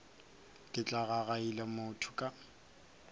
ke tla gagaila motho ka